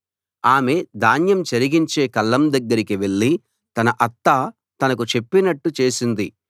ఆమె ధాన్యం చెరిగించే కళ్లం దగ్గరికి వెళ్ళి తన అత్త తనకు చెప్పినట్లు చేసింది